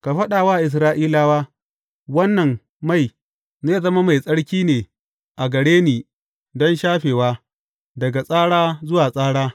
Ka faɗa wa Isra’ilawa, Wannan mai, zai zama mai tsarki ne a gare ni don shafewa, daga tsara zuwa tsara.